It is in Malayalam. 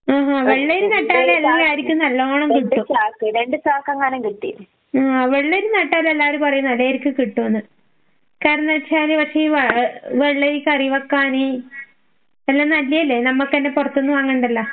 ആഹാ വെള്ളരി നട്ടാല് എല്ലാരിക്കും നല്ലോണം കിട്ടും. ആഹ് വെള്ളരി നട്ടാല് എല്ലാരും പറയുന്ന കേക്കാം കിട്ടൂന്ന്. കാരണംന്ന്ച്ചാല് വെള്ളരി കരി വയ്ക്കാന് പിന്നെ നല്ലയല്ലെ നമ്മുക്കൊന്നും പൊറത്തുന്ന് വാങ്ങണ്ടല്ലോ.